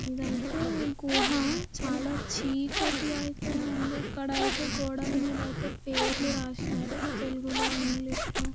ఇదైతే గుహ. చాలా చీకటిగా ఐతే ఉంది. ఇక్కడ ఐతే గోడల మీద ఐతే పేర్లు రాసిన్నారు. తెలుగులో ఇంగ్లీష్ లో--